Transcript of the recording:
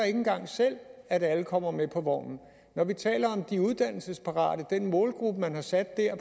ikke engang selv at alle kommer med på vognen når vi taler om de uddannelsesparate den målgruppe man har sat dér